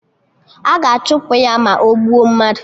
A ga-achụpụ ya, ma ogbuo mmadụ